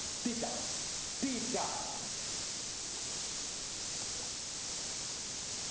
theta theta